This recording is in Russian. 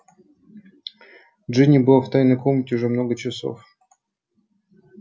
джинни была в тайной комнате уже много часов